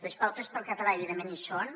les pautes per al català evidentment hi són